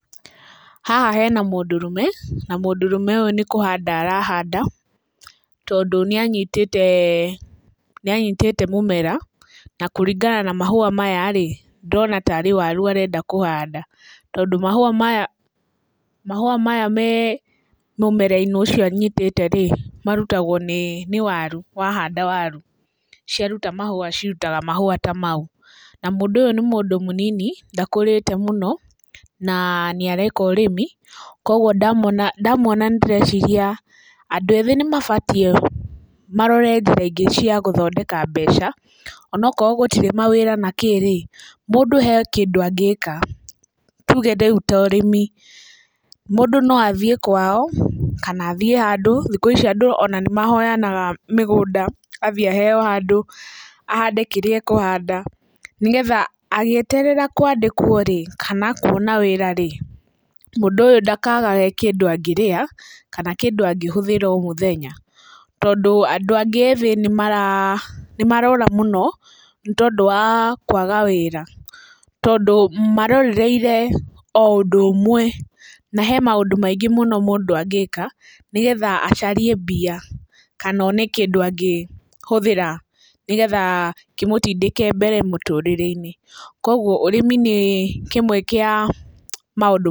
Haha hena mũndũrũme na mũndũrũme ũyũ nĩ kũhanda arahanda, tondũ nĩ anyitĩte, nĩ anyitĩte mũmera na kũringana na mahũa maya-rĩ, ndĩrona ta rĩ waru arenda kũhanda, tondũ mahũa maya me mũmera-inĩ ũcio anyitĩte-rĩ marutagwo nĩ waru. Wahanda waru ciaruta mahũa cirutaga ta mau. Na mũndũ ũyũ nĩ mũnini ndakũrĩte mũno na nĩ areka ũrĩmi. Koguo ndamuona ndĩreciria, andũ ethĩ nĩmabatiĩ marore njĩra ingĩ cia gũthondeka mbeca, ona akorwo gũtirĩ mawĩra kana kĩ, mũndũ he kĩndũ angĩka tuge ta rĩu ũrĩmi mũndũ no athiĩ kwao, kana athiĩ handũ rĩngĩ thikũ ici andũ nĩmahoyanaga mũgũnda, athiĩ aheo handũ ahande kĩrĩa akũhanda nĩgetha agĩeterera kwandĩkwo rĩ kana kuona wĩra rĩ mũndũ ũyũ ndakagage kĩndũ angĩrĩa kana kĩndũ angĩhũthĩra o mũthenya. Tondũ andũ angĩ ethĩ nĩmarora mũno nĩ tondũ wa kwaga wĩra tondũ marorereirie o ũndũ ũmwe na he maũndũ maingĩ mũno mũndũ angĩka, nĩgetha acarie mbia kana one kĩndũ angĩhũthĩra, nĩgetha kĩmutindĩke mbere mũtũrĩre-inĩ . Koguo ũrĩmi nĩ kĩmwe kĩa maũndũ macio.